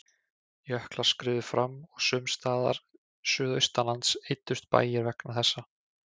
Jöklar skriðu fram og sums staðar suðaustanlands eyddust bæir vegna þessa.